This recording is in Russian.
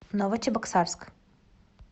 новочебоксарск